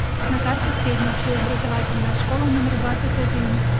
на карте средняя общеобразовательная школа номер двадцать один